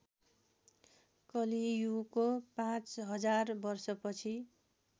कलियुगको पाँचहजार वर्षपछि